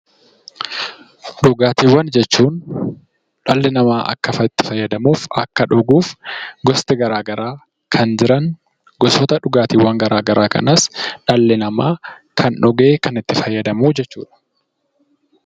Dhugaatiiwwan jechuun dhalli namaa akka itti fayyadamuuf, akka dhuguuf gosti garaagaraa kan jiran gosoota dhugaatiiwwan garaagaraa kanas dhalli namaa kan dhugee itti fayyadamuu jechuudha.